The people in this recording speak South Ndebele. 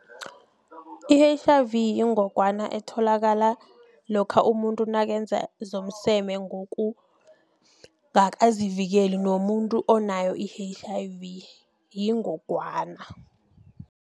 I-H_I_V yingogwana etholakala lokha umuntu nakenza zomseme ngokungakazivikeli nomuntu onayo i-H_I_V yingogwana.